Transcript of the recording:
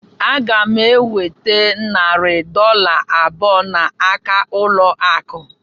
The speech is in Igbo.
Aga m enweta narị dọla abụọ n'aka ụlọ akụ